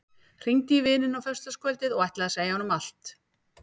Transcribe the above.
Hringdi í vininn á föstudagskvöldið og ætlaði að segja honum allt.